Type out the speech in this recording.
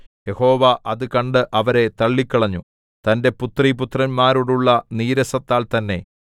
യഹോവ അത് കണ്ട് അവരെ തള്ളിക്കളഞ്ഞു തന്റെ പുത്രീപുത്രന്മാരോടുള്ള നീരസത്താൽ തന്നേ